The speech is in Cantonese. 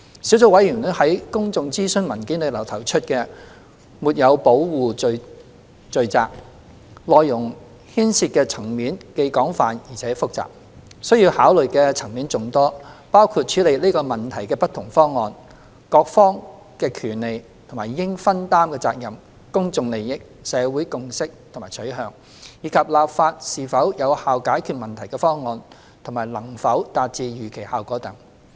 小組委員會在公眾諮詢文件中提出的"沒有保護罪責"，內容牽涉的層面既廣泛而且複雜，需要考慮的層面眾多，包括處理這問題的不同方案、各方的權利及應分擔的責任、公眾利益、社會共識和取向，以及立法是否有效解決問題的方案和能否達致預期效果等。